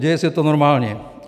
Děje se to normálně.